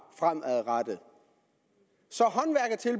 fremadrettet så